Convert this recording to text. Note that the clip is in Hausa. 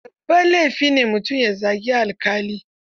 Babban laifi ne mutum ya zagi alƙali.